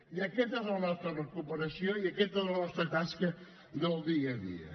i aquesta és la nostra recuperació i aquesta és la nostra tasca del dia a dia